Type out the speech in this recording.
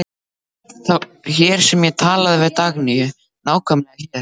Það var hér sem ég talaði við Dagnýju, nákvæmlega hér.